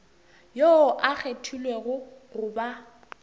yoo a kgethilwego go ba